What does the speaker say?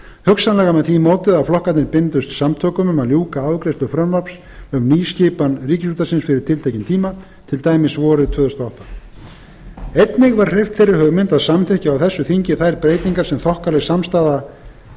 hugsanlega með því móti að flokkarnir byndust samtökum um að ljúka afgreiðslu frumvarps um nýskipan ríkisútvarpsins fyrir tiltekinn tíma til dæmis vorið tvö þúsund og átta einnig var hreyft þeirri hugmynd að samþykkja á þessu þingi þær breytingar sem þokkaleg samstaða